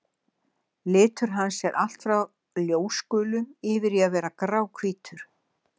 Litur hans er allt frá ljósgulum yfir í að vera gráhvítur.